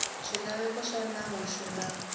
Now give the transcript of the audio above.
swilaveko swa nawu swi nga